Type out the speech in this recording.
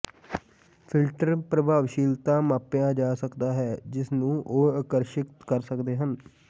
filter ਪ੍ਰਭਾਵਸ਼ੀਲਤਾ ਮਾਪਿਆ ਜਾ ਸਕਦਾ ਹੈ ਜਿਸ ਨੂੰ ਉਹ ਆਕਰਸ਼ਿਤ ਕਰ ਸਕਦੇ ਹਨ